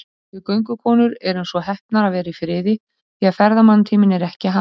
Við göngukonur erum svo heppnar að vera í friði, því ferðamannatíminn er ekki hafinn.